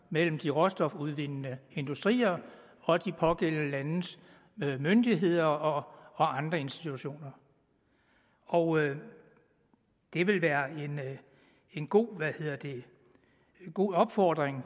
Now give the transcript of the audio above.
mellem de råstofudvindende industrier og de pågældende landes myndigheder og institutioner og det vil være en god god opfordring